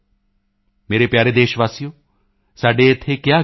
ਮੇਰੇ ਪਿਆਰੇ ਦੇਸ਼ਵਾਸੀਓ ਸਾਡੇ ਇੱਥੇ ਕਿਹਾ ਗਿਆ ਹੈ